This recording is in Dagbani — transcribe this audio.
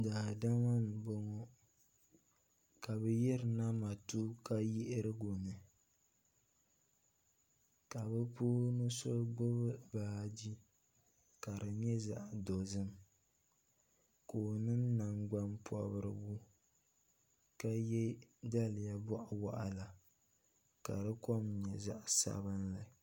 Daadama m boŋɔ ka bɛ yirina matuuka yiɣirigu ni ka bɛ puuni so gbibi baaji ka di nyɛ zaɣa dozim ka o niŋ nangban pobirigu ka ye daliya boɣuwaɣala ka di kom nyɛ zaɣa sabinli.